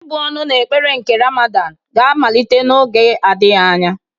Ị́bụ̀ ọnụ na ekpere nke Ramadan ga-amalite n'oge adịghị anya.